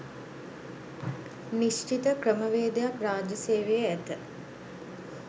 නිශ්චිත ක්‍රමවේදයක් රාජ්‍ය සේවයේ ඇත.